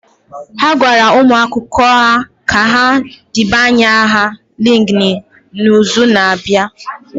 A gwara ụmụ akwụkwọ a ka ha debanye aha LinkedIn n'izu na-abịa.